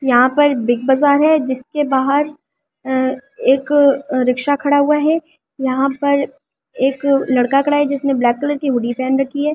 यहां पर बिग बाजार है जिसके बाहर एक रिक्शा खड़ा हुआ है यहां पर एक लड़का खड़ा है जिसने ब्लैक कलर की वुडी पहन रखी है।